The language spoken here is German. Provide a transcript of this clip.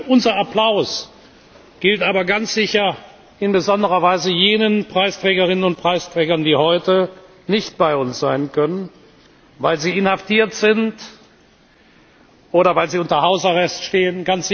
Unser Applaus gilt aber ganz sicher in besonderer Weise jenen Preisträgerinnen und Preisträgern, die heute nicht bei uns sein können, weil sie inhaftiert sind oder weil sie unter Hausarrest stehen.